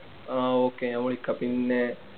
ആഹ് okay ഞാൻ വിളിക്കാം പിന്നേ